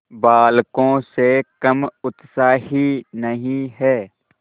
बालकों से कम उत्साही नहीं है